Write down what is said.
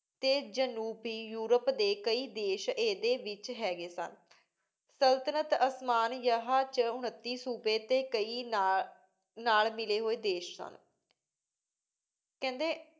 T ਜਾਨੋਬੀ Europe ਦੇ ਕਾਯੀ ਦੇਸ਼ ਈਦੀ ਵਿਚ ਹੇਗ੍ਯ ਸਨ ਸੁਲ੍ਤ੍ਨਤ ਓਸ੍ਮਾਨਿਆ ਵਿਚ ਉਨਿਟੀ ਸੋਬ੍ਯ ਟੀ ਕਾਯੀ ਨਾਲ ਮਿਲੀ ਹੋਏ ਦੇਸ਼ ਸਨ ਕੇਹੰਡੀ